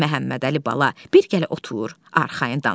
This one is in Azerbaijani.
Məhəmmədəli bala, bir gəlib otur, arxayın danışaq.